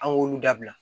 An k'olu dabila